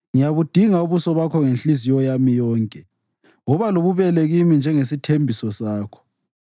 Ngiyabudinga ubuso bakho ngenhliziyo yami yonke; woba lobubele kimi njengesithembiso sakho.